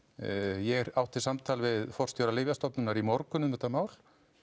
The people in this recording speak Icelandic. ég átti samtal við forstjóra Lyfjastofnunar í morgun um þetta mál